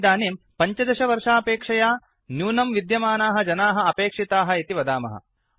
वयमिदानीं १५ वर्षापेक्षया न्यूनं विद्यमानाः जनाः अपेक्षिताः इति वदामः